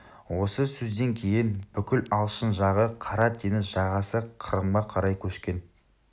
осы сөзден кейін бүкіл алшын жағы қара теңіз жағасы қырымға қарай көшкен